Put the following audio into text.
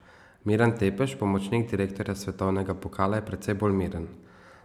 Miran Tepeš, pomočnik direktorja svetovnega pokala, je precej bolj miren.